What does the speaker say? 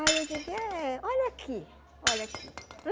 Aí eu digo, eh olha aqui, olha aqui.